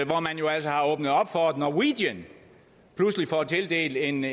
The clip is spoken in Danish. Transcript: hvor man jo altså har åbnet op for at norwegian pludselig får tildelt en